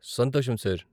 సంతోషం, సార్.